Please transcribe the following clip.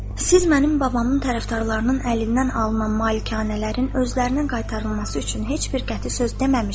“Siz mənim babamın tərəfdarlarının əlindən alınan malikanələrin özlərinə qaytarılması üçün heç bir qəti söz deməmisiniz.”